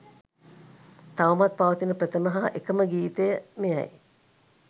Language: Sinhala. තවමත් පවතින ප්‍රථම හා එකම ගීතය මෙයයි